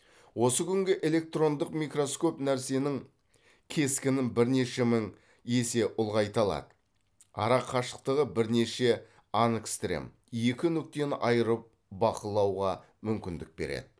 осы күнгі электрондық микроскоп нәрсенің кескінін бірнеше мың есе ұлғайталады ара қашықтығы бірнеше ангстрем екі нүктені айырып бақылауға мүмкіндік береді